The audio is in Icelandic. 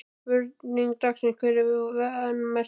Spurning dagsins: Hver er vanmetnastur?